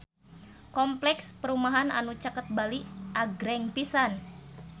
Kompleks perumahan anu caket Bali agreng pisan